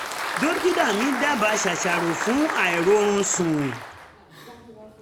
dokita mi daba sasaro fun airorun sun